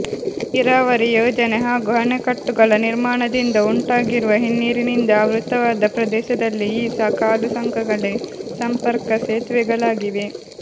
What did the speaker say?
ನೀರಾವರಿ ಯೋಜನೆ ಹಾಗೂ ಅಣೆಕಟ್ಟುಗಳ ನಿರ್ಮಾಣದಿಂದ ಉಂಟಾಗಿರುವ ಹಿನ್ನೀರಿನಿಂದ ಆವೃತವಾದ ಪ್ರದೇಶದಲ್ಲಿ ಈ ಕಾಲುಸಂಕಗಳೇ ಸಂಪರ್ಕ ಸೇತುವೆಗಳಾಗಿವೆ